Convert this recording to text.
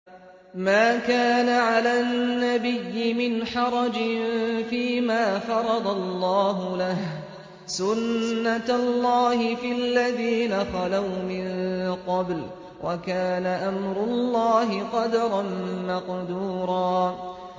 مَّا كَانَ عَلَى النَّبِيِّ مِنْ حَرَجٍ فِيمَا فَرَضَ اللَّهُ لَهُ ۖ سُنَّةَ اللَّهِ فِي الَّذِينَ خَلَوْا مِن قَبْلُ ۚ وَكَانَ أَمْرُ اللَّهِ قَدَرًا مَّقْدُورًا